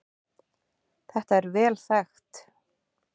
Þetta er vel þekkt